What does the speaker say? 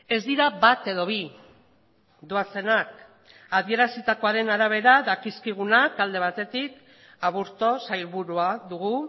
ez dira bat edo bi doazenak adierazitakoaren arabera dakizkigunak alde batetik aburto sailburua dugu